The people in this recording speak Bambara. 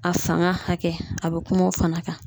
A fanga hakɛ a be kuma o fana kan